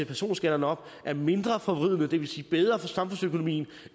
personskatterne op er mindre forvridende og det vil sige bedre for samfundsøkonomien